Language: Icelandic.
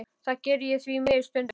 Það geri ég því miður stundum.